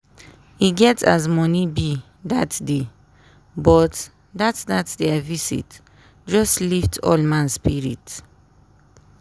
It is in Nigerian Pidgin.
e get as money be dat day but dat dat dia visit just lift all man spirit.